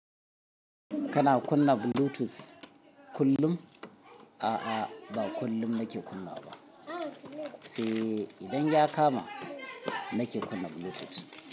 Kana kunna bluetooth kullum? A'a, ba kullum nake kunnawa ba. Sai idan ya kama, nake kunna bluetooth.